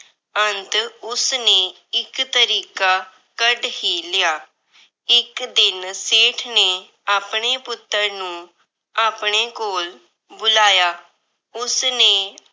ਅੰਤ ਉਸਨੇ ਇੱਕ ਤਰੀਕਾ ਕੱਢ ਹੀ ਲਿਆ। ਇੱਕ ਦਿਨ ਸੇਠ ਨੇ ਆਪਣੇ ਪੁੱਤਰ ਨੂੰ ਆਪਣੇ ਕੋਲ ਬੁਲਾਇਆ। ਉਸਨੇ